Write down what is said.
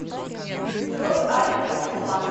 джой алекс и милана